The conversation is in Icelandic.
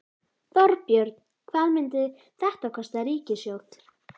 Þorbjörn: Hvað myndi þetta kosta ríkissjóð?